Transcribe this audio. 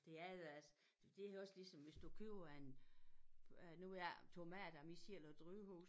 Det er ellers det også ligesom hvis du køber en øh nu har jeg tomater mig selv og drivhus